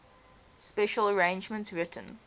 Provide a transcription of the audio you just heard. special arrangements written